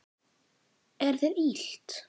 Er þér illt?